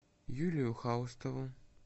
юлию хаустову